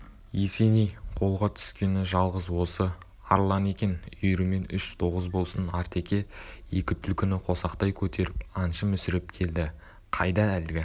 есеней қолға түскені жалғыз осы арланы екен үйірімен үш тоғыз болсын артеке екі түлкіні қосақтай көтеріп аңшы мүсіреп келді қайда әлгі